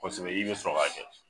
Kosɛbɛ i bɛ sɔrɔ k'a kɛ.